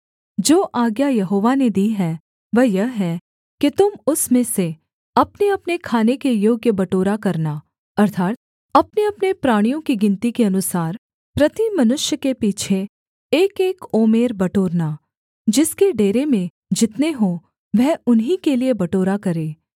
जो आज्ञा यहोवा ने दी है वह यह है कि तुम उसमें से अपनेअपने खाने के योग्य बटोरा करना अर्थात् अपनेअपने प्राणियों की गिनती के अनुसार प्रति मनुष्य के पीछे एकएक ओमेर बटोरना जिसके डेरे में जितने हों वह उन्हीं के लिये बटोरा करे